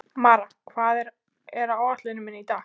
Mara, hvað er á áætluninni minni í dag?